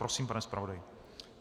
Prosím, pane zpravodaji.